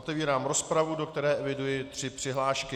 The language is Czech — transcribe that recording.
Otevírám rozpravu, do které eviduji tři přihlášky.